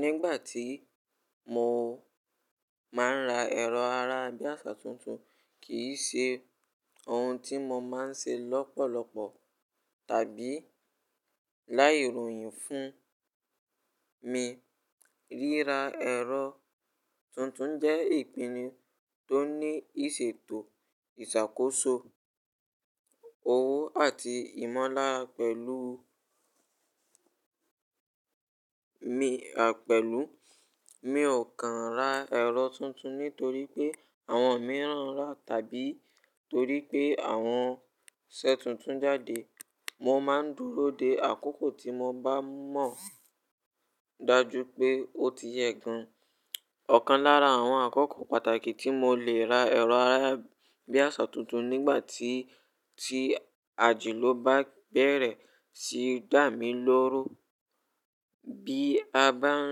Nígbà tí mo máa ń ra ẹ̀rọ ará-bíàṣá tuntun, kì í ṣe ohun tí mo máa ń ṣe lọ́pọ̀lọpọ̀ tàbí láìròyìn fún mi. Ríra ẹ̀rọ tuntun jẹ́ ìpinnu tó ní ìṣètò, ìṣàkóso, owó àti ìmọlára pẹ̀lú mi. Àpẹ̀lú, mi ò kan ra ẹ̀rọ tuntun nítorí pé àwọn mìíràn rà tàbí torí pé àwọn ṣẹ́ tuntun jáde. Mo máa ń dúró de àkókò tí mo bá mọ̀ dájú pé ó ti yẹ gan. Ọ̀kan lára àwọn àkókò pàtàkì tí mo lè ra ẹ̀rọ ará-bíàṣá tuntun nígbà tí, tí àjìlò bá bẹ̀rẹ̀ sí dá mi lórú. Bí a bá ń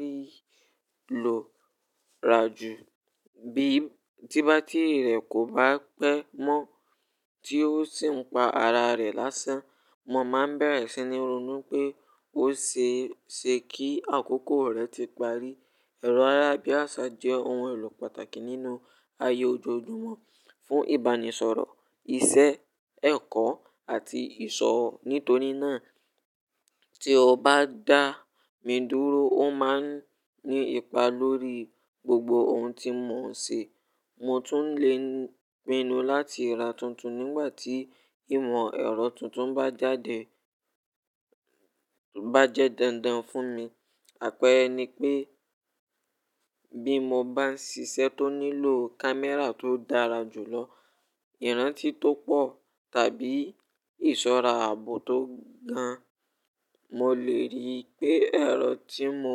rí lọ̀ràjù, bí ti bátírì rẹ̀ kò bá pẹ́ mọ́, tí ó sì ń pa ara rẹ̀ lásán, mo máa bẹ̀rẹ̀ sí ní ronú pé ó ṣe é ṣe kí àkókò rẹ̀ ti parí. Ẹ̀rọ ará-bíàṣá jẹ́ ohun èlò pàtàkì nínú ayé ojoojúmọ́ fún ìbánisọ̀rọ̀, iṣẹ́, ẹ̀kọ́ àti ìṣọ́. Nítorí náà, tí ó bá dá mi dúró, ó máa ń ní ipa lórí gbogbo ohun tí mò ń ṣe. Mo tún lè pinu láti ra tuntun nígbà tí ìmọ̀ ẹ̀rọ tuntun bá jáde bá jẹ́ dandan fún mi. Àpẹẹrẹ ni pé, bí mo bá ń ṣiṣẹ́ tó nílò kámẹ́rà tó dára jùlọ, ìrántí tó pọ̀ tàbí ìṣọ́ra ààbò tó gan, mo lè rí i pé ẹ̀rọ tí mò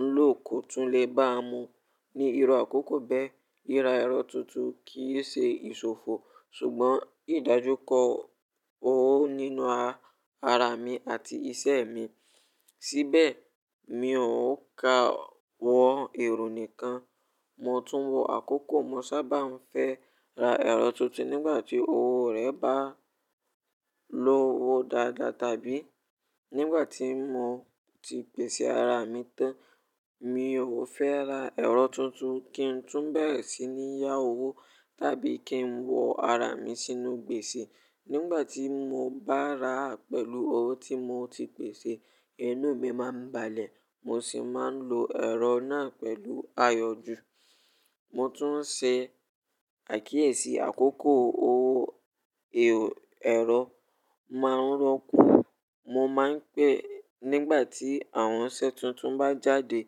ń lò kò tún lè bá mu ní irú àkókò bẹ́ẹ̀. Ríra ẹ̀rọ tuntun kì í ṣe ìṣòfò, ṣùgbọ́n ìdájúkọ owó nínú ara mi àti ìṣe mi. Síbẹ̀, mi ò ka wọ ẹro nìkan, mo tún wọ àkókò. Mo sábà ń fẹ́ ra ẹ̀rọ tuntun nígbà tí owó rẹ̀ bá lọ́wọ́ dáadáa tàbí nígbà tí mo ti pèsè ara mi tán. Mi ò fẹ́ ra ẹ̀rọ tuntun kí n tún bẹ̀rẹ̀ sí ní yá owó tàbí kí n wọ ara mi sínú gbèsè. Nígbà tí mo bá ra rẹ̀ pẹ̀lú owó tí mo ti pèsè, inú mi máa ń balẹ̀, mo sì máa ń lo ẹ̀rọ náà pẹ̀lú àyọju. Mo tún ṣe àkíyèsí àkókò owó ẹ̀rọ máa ń rokú. Mo máa ń pè, nígbà tí àwọn iṣẹ́ tuntun bá jáde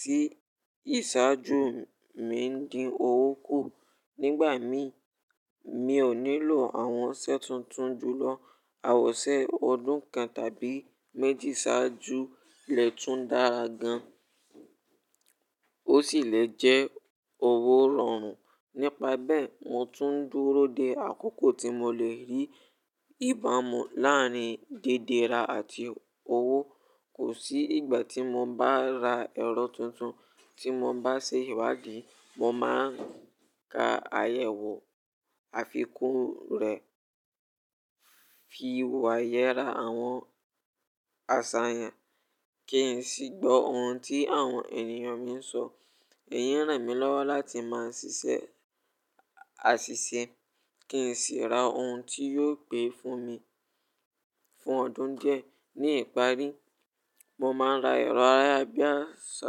tí ìṣáájú mi ń dín owó kù. Nígbà mi, mi ò nílò àwọn ṣẹ́ tuntun jùlọ. Awọ̀n iṣẹ́ ọdún kan tàbí méjì ṣáájú lè tún dára gan, ó sì lè jẹ́ owó rọrùn. Nípa bẹ́ẹ̀, mo tún ń dúró de àkókò tí mo lè rí ìbámu láàárín dédèra àti owó. Kò sí ìgbà tí mo bá ra ẹ̀rọ tuntun tí mo bá ṣe ìwádìí. Mo máa ń ka àyẹ̀wò àfikún rẹ̀, fi wàhẹ́ ra àwọn àṣàyàn, kí n sì gbọ́ ohun tí àwọn ènìyàn mi ń sọ. Èyí ràn mí lọ́wọ́ láti máa ṣiṣẹ́ àṣìṣe kí n sì ra ohun tí yóò pé fún mi fún ọdún díẹ̀. Ní ìparí, mo máa ra ẹ̀rọ ayarabíàṣá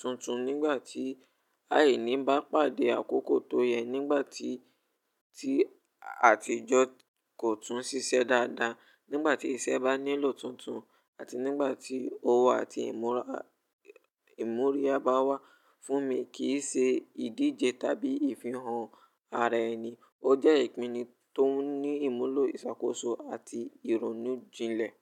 tuntun nígbà tí àìní bá pàdé àkókò tó yẹ, nígbà tí, tí àtijọ́ kò tún ṣiṣẹ́ dáadáa, nígbà tí iṣẹ́ bá nílò tuntun, àti nígbà tí owó àti ìmú oríya bá wà fún mi. Kì í ṣe ìdíje tàbí ìfihàn ara ẹni, ó jẹ́ ìpinnu tó ní ìmúlò ìṣàkóso àti ìrònú jilẹ̀.